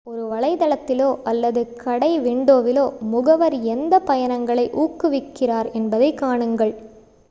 ஒரு வலைத்தளத்திலோ அல்லது கடை விண்டோவிலோ முகவர் எந்த பயணங்களை ஊக்குவிக்கிறார் என்பதைப் காணுங்கள்